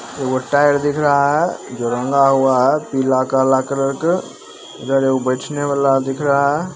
Hotel दिख रहा है जो रंगा हुआ है पीला काला कलर के इधर एगो बैठने वाला दिख रहा है।